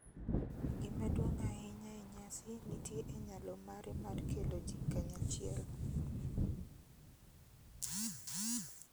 Gima duong' ahinya e nyasi nitie e nyalo mare mar kelo ji kanyachiel,